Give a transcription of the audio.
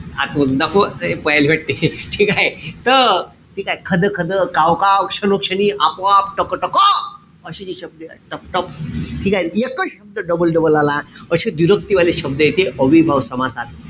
आत मधी दाखवू का? पयाली वाटते. ठीकेय? त ठीकेय? खदखद, कावकाव, क्षणोक्षणी, आपोआप, टकटक. अशी जी शब्द टपटप, ठीकेय? एकच शब्द doble-double आला. अशे व्दिरक्ती वाले शब्द येते. अव्ययीभाव समासात.